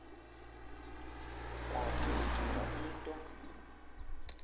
kanti ucinga into